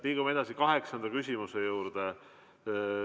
Liigume edasi kaheksanda küsimuse juurde.